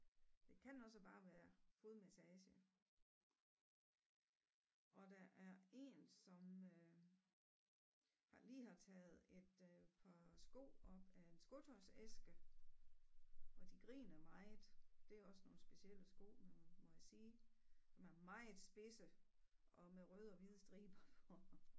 Det kan også bare være fodmassage og der er 1 som øh har lige har taget et øh par sko op af en skotøjsæske og de griner meget det er også nogle specielle sko må jeg sige som er meget spidse og med røde og hvide striber på